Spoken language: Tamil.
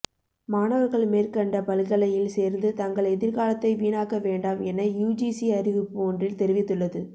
மாணவர்கள் மேற்கண்ட பல்கலையில் சேர்ந்து தங்கள் எதிர்காலத்தை வீணாக்க வேண்டாம் என யுஜிசி அறிவிப்பு ஒன்றில் தெரிவித்துள்ளது